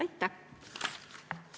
Aitäh!